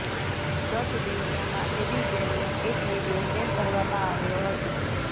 ગત દિવસોમાં એબિગેલનો એક વીડિયો શેર કરવામાં આવ્યો હતો